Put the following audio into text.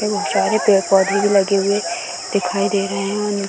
सारे पेड़-पोधे भी लगे हुए दिखाई दे रहे हैं और य --